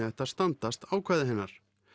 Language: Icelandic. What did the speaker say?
ætti að standast ákvæði hennar